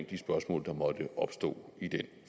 de spørgsmål der måtte opstå i den